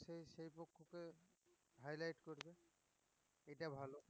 তা highlight করবে এটা ভালো